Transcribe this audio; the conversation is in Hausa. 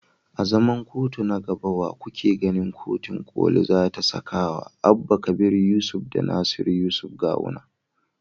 A zaman kotu na gaba, wa kuke ganin kotun koli za ta sakawa Abba kabir yusuf da Nasiru yusuf Gawuna.